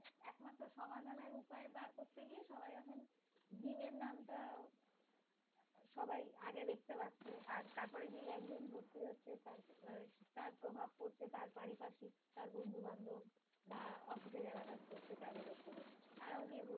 gym এর নামটা সবাই আগে দেখতে পাচ্ছে। আর তারপর যেই একজন ভর্তি হচ্ছে তার আহ প্রভাব পড়ছে তার পারিপার্শ্বিক তার বন্ধুবান্ধব বা অফিসে যারা কাজ করছে তাদের উপরে তারাও গিয়ে